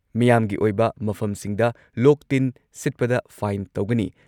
ꯃꯤꯌꯥꯝꯒꯤ ꯑꯣꯏꯕ ꯃꯐꯝꯁꯤꯡꯗ ꯂꯣꯛ-ꯇꯤꯟ ꯁꯤꯠꯄꯗ ꯐꯥꯏꯟ ꯇꯧꯒꯅꯤ ꯫